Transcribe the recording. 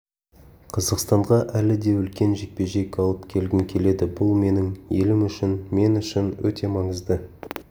қазақстанға әлі де үлкен жекпе-жек алып келгім келеді бұл менің елім үшін мен үшін өте маңызды